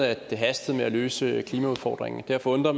at det hastede med at løse klimaudfordringen og derfor undrer